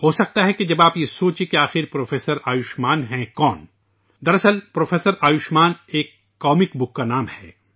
ہو سکتا ہے کہ جب آپ یہ سوچیں کہ پروفیسر آیوشمان کون ہیں؟ دراصل پروفیسر آیوشمان ایک مزاحیہ کتاب کا نام ہے